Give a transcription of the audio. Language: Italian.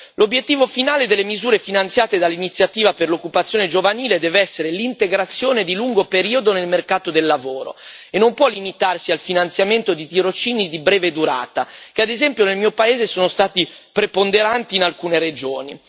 L'obiettivo finale delle misure finanziate dall'Iniziativa per l'occupazione giovanile deve essere l'integrazione di lungo periodo nel mercato del lavoro e non può limitarsi al finanziamento di tirocini di breve durata che ad esempio, nel mio paese, sono stati preponderanti in alcune regioni.